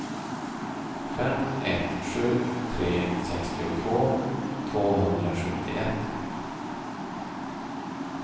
fem ett sju tre sextiotvå tvåhundrasjuttioett